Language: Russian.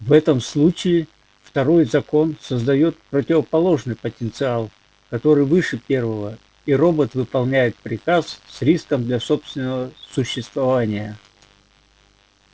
в этом случае второй закон создаёт противоположный потенциал который выше первого и робот выполняет приказ с риском для собственного существования